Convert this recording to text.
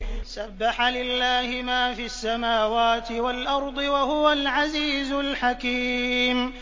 سَبَّحَ لِلَّهِ مَا فِي السَّمَاوَاتِ وَالْأَرْضِ ۖ وَهُوَ الْعَزِيزُ الْحَكِيمُ